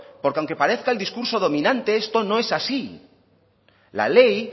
porque aunque parezca el discurso dominante esto no es así la ley